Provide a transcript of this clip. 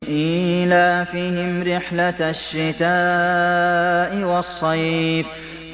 إِيلَافِهِمْ رِحْلَةَ الشِّتَاءِ وَالصَّيْفِ